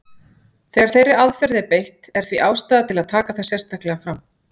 Þegar þeirri aðferð er beitt er því ástæða til að taka það sérstaklega fram.